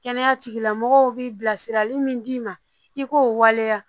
Kɛnɛya tigilamɔgɔw bi bilasirali min d'i ma i k'o waleya